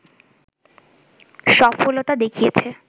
সফলতা দেখিয়েছে